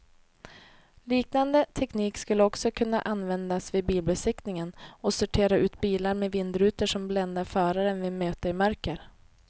Liknande teknik skulle också kunna användas vid bilbesiktningen och sortera ut bilar med vindrutor som bländar föraren vid möte i mörker.